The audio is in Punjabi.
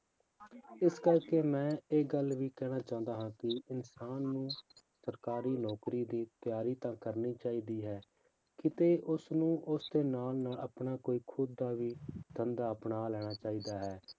ਇਸ ਕਰਕੇ ਮੈਂ ਇਹ ਗੱਲ ਵੀ ਕਹਿਣਾ ਚਾਹੁੰਦਾ ਹਾਂ ਕਿ ਇਨਸਾਨ ਨੂੰ ਸਰਕਾਰੀ ਨੌਕਰੀ ਦੀ ਤਿਆਰੀ ਤਾਂ ਕਰਨੀ ਚਾਹੀਦੀ ਹੈ, ਕਿਤੇ ਉਸਨੂੰ ਉਸਦੇ ਨਾਲ ਨਾਲ ਆਪਣਾ ਕੋਈ ਖੁੱਦ ਦਾ ਵੀ ਧੰਦਾ ਅਪਣਾ ਲੈਣਾ ਚਾਹੀਦਾ ਹੈ।